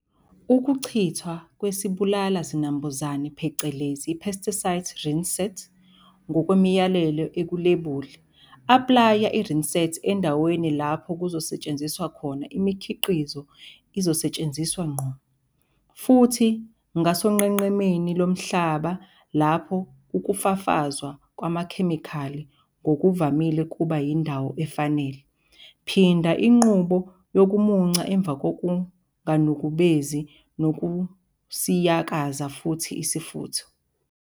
Ukuchithwa kwesibulala zinambuzane phecelezi i-pesticide rinsate ngokwemiyalelo ekulebuli, aplaya i-rinsate endaweni lapho kuzosetshenziswa khona imikhiqizo izosetshenziswa ngqo, futhi, ngasonqenqemeni lomhlaba lapho ukufafazwa kwamakhemikhali ngokuvamile kuba yindawo efanele. Phinda inqubo yokumunca emva kokunganukubezi nokusiyakaza futhi isifutho.